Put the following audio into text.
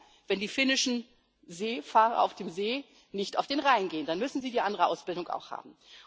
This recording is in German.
Aber nur, wenn die finnischen Seefahrer auf dem See nicht auf den Rhein gehen, dann müssen sie die andere Ausbildung auch haben.